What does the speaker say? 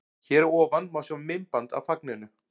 Hér að ofan má sjá myndband af fagninu.